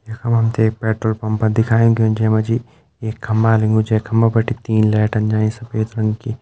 यख मा हम ते एक पेट्रोल पंप दिखाई ग्युं जै मा जी एक खम्बा लग्युं जै खम्बा बिटिन तीन लाइटन जाईं सफ़ेद रंगा की।